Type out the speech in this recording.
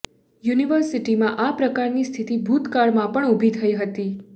યુનિવર્સિટીમાં આ પ્રકારની સ્થિતિ ભૂતકાળમાં પણ ઊભી થઇ હતી